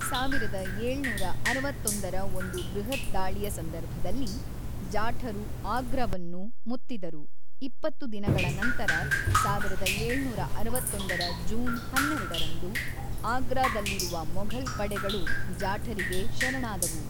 ಸಾವಿರದ ಏಳುನೂರ ಅರವತ್ತೊಂದರ ಒಂದು ಬೃಹತ್ ದಾಳಿಯ ಸಂದರ್ಭದಲ್ಲಿ, ಜಾಠರು ಆಗ್ರಾವನ್ನು ಮುತ್ತಿದರು ಇಪ್ಪತ್ತು ದಿನಗಳ ನಂತರ ಸಾವಿರದ ಏಳುನೂರ ಅರವತ್ತೊಂದರ ಜೂನ್ ಹನ್ನೆರಡರಂದು ಆಗ್ರಾದಲ್ಲಿರುವ ಮೊಘಲ್ ಪಡೆಗಳು ಜಾಠರಿಗೆ ಶರಣಾದವು.